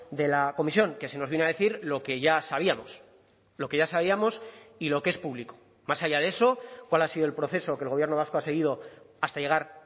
de la comisión que se nos vino a decir lo que ya sabíamos lo que ya sabíamos y lo que es público más allá de eso cuál ha sido el proceso que el gobierno vasco ha seguido hasta llegar